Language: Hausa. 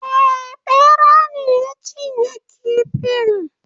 Eh Ɓera ne ya cinye kifin